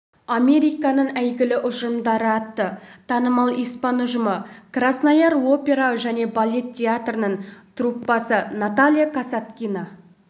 американың әйгілі ұжымдары атты танымал испан ұжымы краснояр опера және балет театрының труппасы наталья касаткина